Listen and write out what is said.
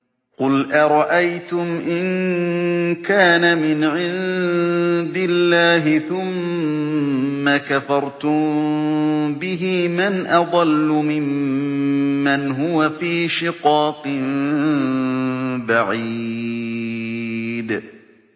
قُلْ أَرَأَيْتُمْ إِن كَانَ مِنْ عِندِ اللَّهِ ثُمَّ كَفَرْتُم بِهِ مَنْ أَضَلُّ مِمَّنْ هُوَ فِي شِقَاقٍ بَعِيدٍ